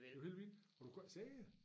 Det var helt vildt og du kunne ikke se det